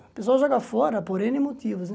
O pessoal joga fora por êne motivos, né?